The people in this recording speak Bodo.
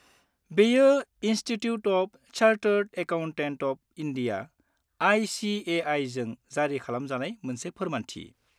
-बेयो institute of chartered accountants of India (I. C. A. I.) जों जारि खालामजानाय मोनसे फोरमानथि।